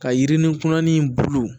Ka yirini kunnani bolo